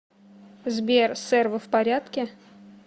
сбер сэр вы в порядке